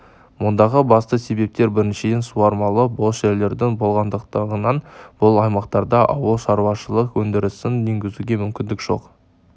мұндағы басты себептер біріншіден суармалы бос жерлердің болмағандығынан бұл аймақтарда ауыл шаруашылық өндірісін енгізуге мүмкіндік жоқ